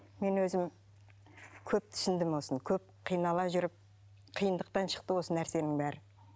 мен өзім көп түсіндім осыны көп қинала жүріп қиындықтан шықты осы нәрсенің бәрі